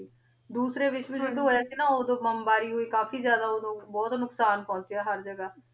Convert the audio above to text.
ਡੋਰੀ ਵਿਸ੍ਹ੍ਵ ਯੋਉਧ ਹੋਯਾ ਸੀ ਨਾ ਓਦੋਂ ਬੁਮ੍ਬਾਰੀ ਹੋਈ ਕਾਫੀ ਜਾਈਦਾ ਓਦੋਂ ਬੋਹਤ ਨੁਕਸਾਨ ਪੋਹ੍ਨ੍ਚ੍ਯਾ ਹਰ ਜਗਾ